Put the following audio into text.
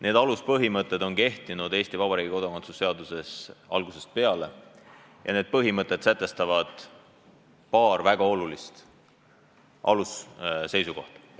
Need aluspõhimõtted on kehtinud Eesti Vabariigi kodakondsuse seaduses algusest peale ja need sätestavad paar väga olulist alusseisukohta.